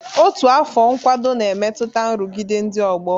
Otu afọ nkwado na-emetụta nrụgide ndị ọgbọ